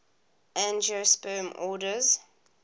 angiosperm orders